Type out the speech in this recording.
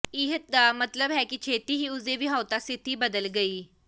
ਇਹ ਦਾ ਮਤਲਬ ਹੈ ਕਿ ਛੇਤੀ ਹੀ ਉਸ ਦੇ ਵਿਆਹੁਤਾ ਸਥਿਤੀ ਬਦਲ ਗਈ